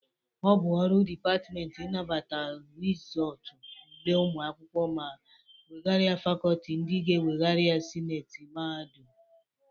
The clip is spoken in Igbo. Ọ bụ ọrụ depatmenti inabata rịzọtụ ule ụmụ akwụkwọ ma wegara ya fakọltị ndị ga-ewegara ya sineti mahadum.